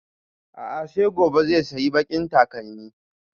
A'a sai gobe zai sayi baƙin takalmin